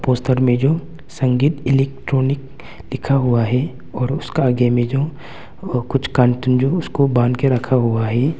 Poster में जो संगीत इलेक्ट्रॉनिक लिखा हुआ है और उसके आगे में जो अ कुछ कार्टून जो उसको बांध के रखा हुआ है।